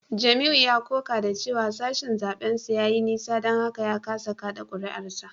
Jamiu ya koka da cewa sashen zaben sa ya yi nisa don haka ya kasa kada kuri’arsa